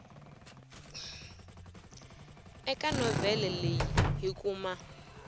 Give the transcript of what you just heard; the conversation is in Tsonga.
eka novhele leyi hi kuma